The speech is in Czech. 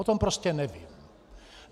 O tom prostě nevím.